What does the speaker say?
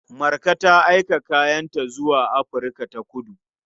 Marka ta aika kayanta zuwa Afirka-ta-kudu.